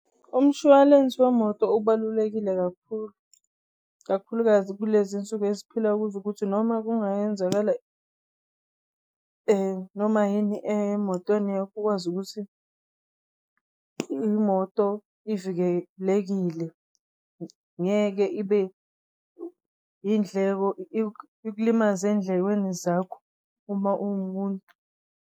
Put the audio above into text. Umshwalense wemoto ubalulekile kakhulu kakhulukazi kulezinsuku eziphila kuzo ukuthi noma kungayenzakala noma yini emotweni yakho ukwazi ukuthi imoto ivikelekile, ngeke ibe indleko ikulimaze ey'ndlekweni zakho uma uwumuntu.